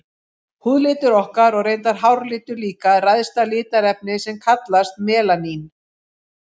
Húðlitur okkar, og reyndar háralitur líka, ræðst af litarefni sem kallast melanín.